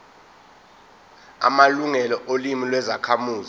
amalungelo olimi lwezakhamuzi